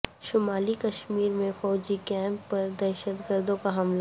شمالی کشمیر میں فوجی کیمپ پر دہشت گردوں کاحملہ